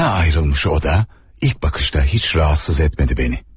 Bana ayrılmış o da ilk bakışta hiç rahatsız etmedi beni.